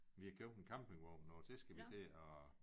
Vi har købt en campingvogn og det skal vi til og